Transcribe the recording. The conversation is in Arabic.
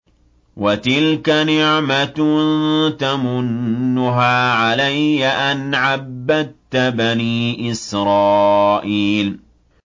وَتِلْكَ نِعْمَةٌ تَمُنُّهَا عَلَيَّ أَنْ عَبَّدتَّ بَنِي إِسْرَائِيلَ